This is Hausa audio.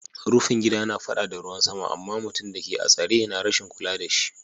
rufin gida na fada da ruwan sama, ama mutum da ke a'tsare na rashin kulla da shi.